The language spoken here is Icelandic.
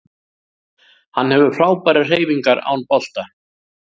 Hann hefur frábærar hreyfingar án bolta